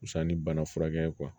Wusa ni bana furakɛ ye